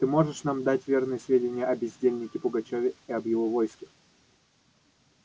ты можешь нам дать верные сведения о бездельнике пугачёве и об его войске